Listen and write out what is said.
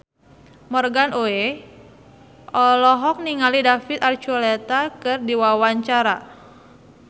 Morgan Oey olohok ningali David Archuletta keur diwawancara